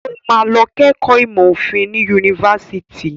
Ó máa lọ kẹ́kọ̀ọ́ ìmọ̀ òfin ní yunifásitì.